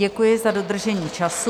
Děkuji za dodržení času.